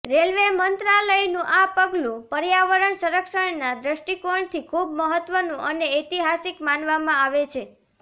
railway મંત્રાલયનું આ પગલું પર્યાવરણ સંરક્ષણના દૃષ્ટિકોણથી ખૂબ મહત્વનું અને ઐતિહાસિક માનવામાં આવે છે